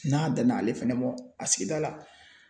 N'a danna ale fɛnɛ a sigida la